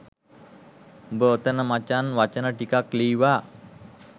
උබ ඔතන මචන් වචන ටිකක් ලීවා